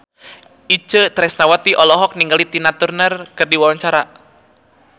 Itje Tresnawati olohok ningali Tina Turner keur diwawancara